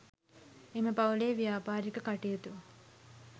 එම පවුලේ ව්‍යාපාරික කටයුතු